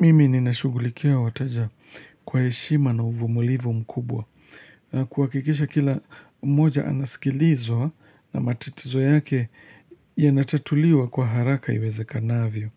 Mimi nina shugulikia wateja kwa heshima na uvumulivu mkubwa. Kuhakikisha kila mmoja anasikilizwa na matatizo yake yanatatuliwa kwa haraka iweze kanavyo.